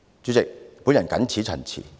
主席，我謹此陳辭。